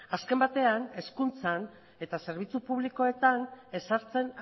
azken batean hezkuntzan eta zerbitzu publikoetan ezartzen